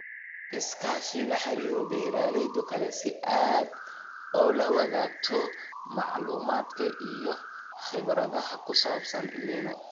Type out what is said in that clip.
Iskaashi La xiriir beeralayda kale si aad ula wadaagto macluumaadka iyo khibradaha ku saabsan El Niño.